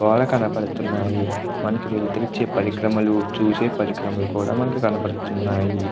గోడ కనపడుతున్నాయి. మనకు వెలుతురిచ్చే పరిక్రమలు చూసే పరిక్రమలు కూడా కనబడుతున్నాయి.